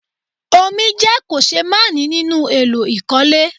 Omi jẹ́ kòṣeémánìí nínú èlò ìkọ́lé